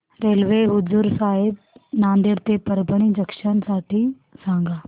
railway हुजूर साहेब नांदेड ते परभणी जंक्शन साठी सांगा